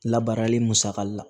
Labaarali musaka la